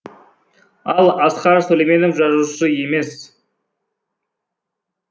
ал асқар сүлейменов жазушы емес